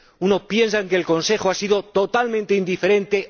Unos piensan que el Consejo ha sido totalmente indiferente